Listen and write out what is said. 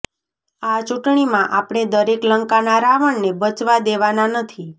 આ ચૂંટણીમાં આપણે દરેક લંકાના રાવણને બચવા દેવાના નથી